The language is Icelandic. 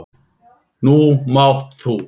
Nú mátt þú.